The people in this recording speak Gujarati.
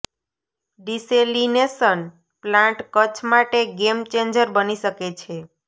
ડિસેલિનેશન પ્લાન્ટ કચ્છ માટે ગેમ ચેન્જર બની શકે છે